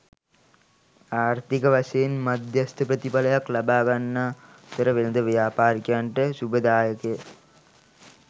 ආර්ථික වශයෙන් මධ්‍යස්ථ ප්‍රතිඵලයක් ලබාගන්නා අතර වෙළෙඳ ව්‍යාපාරිකයන්ට ශුභදායකය.